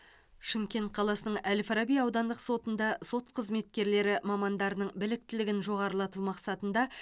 шымкент қаласының әл фараби аудандық сотында сот қызметкерлері мамандарының біліктілігін жоғарылату мақсатында